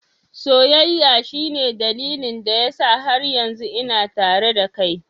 Soyayya shine dalilin da yasa har yanzu ina tare da kai.